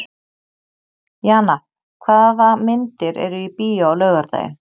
Jana, hvaða myndir eru í bíó á laugardaginn?